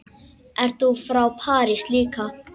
Ert þú frá París líka?